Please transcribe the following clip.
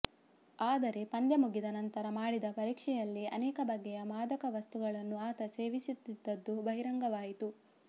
ಆದರೆ ಪಂದ್ಯ ಮುಗಿದ ನಂತರ ಮಾಡಿದ ಪರೀಕ್ಷೆಯಲ್ಲಿ ಅನೇಕ ಬಗೆಯ ಮಾದಕವಸ್ತುಗಳನ್ನು ಆತ ಸೇವಿಸುತ್ತಿದ್ದದ್ದು ಬಹಿರಂಗವಾಯಿತು